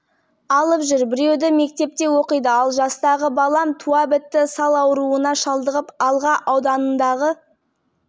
екі қабатты үйде су электр тоғы жоқ тұруға жарамсыз үйдің иелері жергілікті әкімдіктен көмек сұрап тығырықтан шығу жолдарын іздейді бірақ әзірге